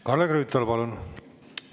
Kalle Grünthal, palun!